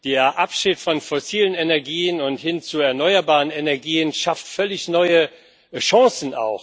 Der Abschied von fossilen Energien und hin zu erneuerbaren Energien schafft auch völlig neue Chancen.